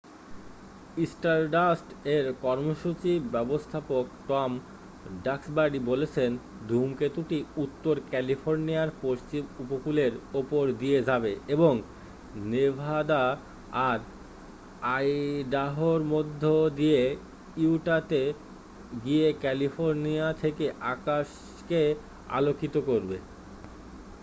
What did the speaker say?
স্টারডাস্ট-এর কর্মসূচি ব্যবস্থাপক Tom Duxbury বলেছেন ধূমকেতুটি উত্তর ক্যালিফোর্নিয়ার পশ্চিম উপকূলের উপর দিয়ে যাবে এবং নেভাদা আর আইডাহোর মধ্য দিয়ে ইউটাতে গিয়ে ক্যালিফোর্নিয়া থেকে আকাশকে আলোকিত করবে